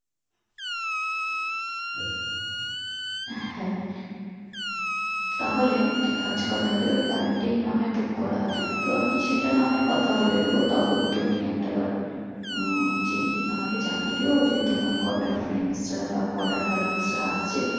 তাহলে এক কাজ করা হবে ওই গাড়িটা নাহয় book করা হবে তো আমি সেটা নাহয় কথা বলে নিবো তখন তুমি একটা বার উম জেনে আমাকে জানিয়ে দিয়ো তোমার কোটা friend রা বা কোটা colleague রা আসছে